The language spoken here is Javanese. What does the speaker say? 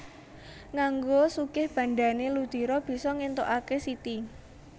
Nganggo sugih bandhané Ludiro bisa ngéntukaké Siti